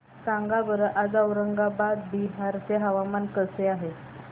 सांगा बरं आज औरंगाबाद बिहार चे हवामान कसे आहे